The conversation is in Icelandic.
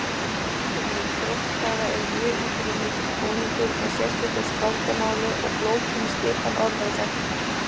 Einkenni dróttkvæða eru mjög íburðarmikill búningur með sérstöku skáldamáli og flókinni skipan orða og setninga.